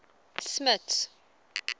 smuts